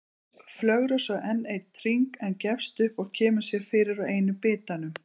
Flögrar svo enn einn hring en gefst upp og kemur sér fyrir á einum bitanum.